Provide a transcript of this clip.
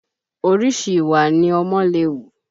Orìṣi ìwà ni ọmọ lè hù